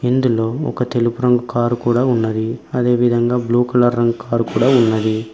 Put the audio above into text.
ఇందులో ఒక తెలుపు రంగు కారు కూడా ఉన్నది అదేవిధంగా బ్లూ కలర్ రంగ్ కారు కూడా ఉంది.